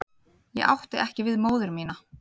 Ég átti ekki við móður mína.